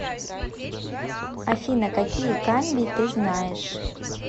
афина какие камбий ты знаешь